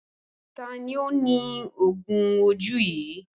Ta ni ó ní oògùn ojú yìí?